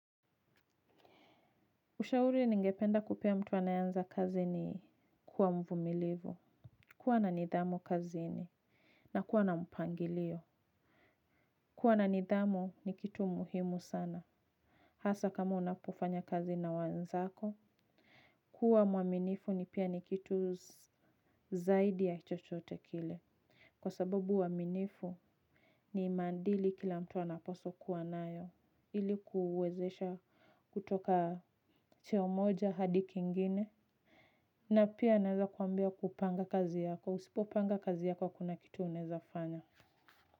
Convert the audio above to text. Ushauri ningependa kupea mtu anayeanza kazi ni kuwa mvumilivu. Kuwa na nidhamu kazini. Na kuwa na mpangilio. Kuwa na nidhamu ni kitu muhimu sana. Hasa kama unapofanya kazi na wenzako. Kuwa mwaminifu ni pia ni kitu zaidi ya chochote kile. Kwa sababu uaminifu ni maadili kila mtu anapaswa kuwa nayo. Ili kuwezesha kutoka cheo moja hadi kingine. Na pia naweza kuambia kupanga kazi yako. Usipopanga kazi yako hakuna kitu unaweza fanya.